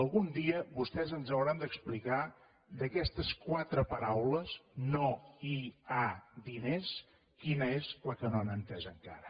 algun dia vostès ens hauran d’explicar d’aquestes quatre paraules no hi ha di·ners quina és la que no han entès encara